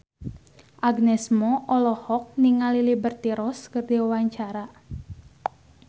Agnes Mo olohok ningali Liberty Ross keur diwawancara